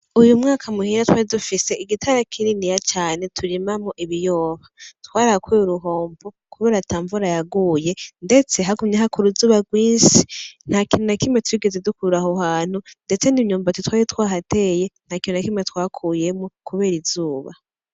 Uyu mwaka muhira twari dufise igitara kininiya cane turimamwo ibiyoba twarahakuye uruhombo kubera ata mvura yaguye ndetse hagumye haka uruzuba rwishi nta kintu na kimwe twigeze dukura aho hantu ndetse n'imyumbati twari twahateye nta kintu na kimwe twakuyemo kubera izuba.